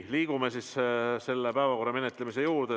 Liigume päevakorra menetlemise juurde.